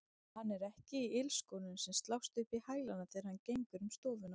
Hann er ekki í ilskónum sem slást upp í hælana þegar hann gengur um stofuna.